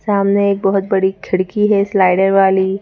सामने एक बहुत बड़ी खिड़की है स्लाइडर वाली--